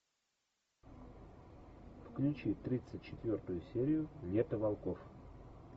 включи тридцать четвертую серию лето волков